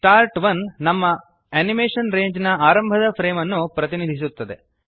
start 1 ನಮ್ಮ animation ರೇಂಜ್ನ ಆರಂಭದ ಫ್ರೇಮ್ ಅನ್ನು ಪ್ರತಿನಿಧಿಸುತ್ತದೆ